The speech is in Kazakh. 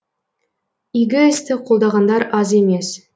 игі істі қолдағандар аз емес